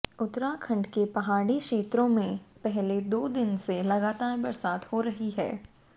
उत्तराखंड के पहाड़ी क्षेत्रों में पिछले दो दिन से लगातार बरसात हो रही है